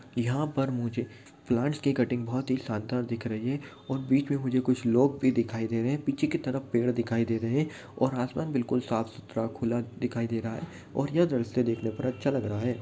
यहा पर मुझे प्लांट्स की कटिंग बहुत ही शानदार दिख रही है। और बीच में मुझे कुछ लोग भी दिखाई दे रहे हैं। पीछे की तरफ पेड दिखाई दे रहे हैं। और आस- पास बिल्कुल साफ- सुथरा खुला दिखाई दे रहा है और यह दृश्य देखने पर अच्छा लग रहा है।